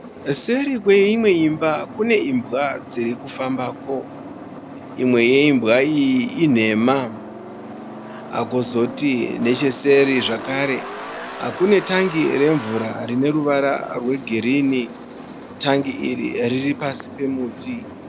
Seri kweimwe imba kune imbwa dziri ku fambako. Imwe yeimbwa iyi inhema. Kwozoti necheseri zvakare kune tangi remvura rine ruvara rwegirini. Tangi iri riri pasi pemuti.